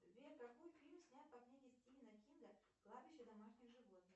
сбер какой фильм снят по книге стивена кинга кладбище домашних животных